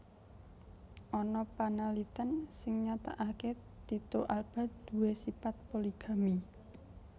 Ana panaliten sing nyatakake Tyto Alba duwé sipat Poligami